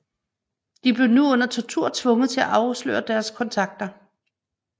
De blev nu under tortur tvunget til at afsløre deres kontakter